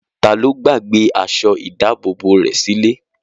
Ta ló gbàgbé aṣọ ìdábòbò rẹ̀ sílé?